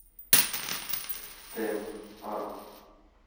темп а